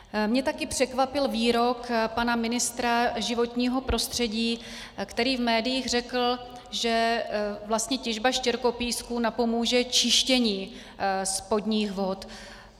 Mě také překvapil výrok pana ministra životního prostředí, který v médiích řekl, že vlastně těžba štěrkopísku napomůže čištění spodních vod.